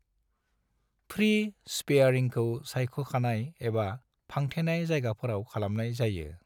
Free स्पेयारिंखौ सायख'खानाय एबा फांथेनाय जायगाफोराव खालामनाय जायो।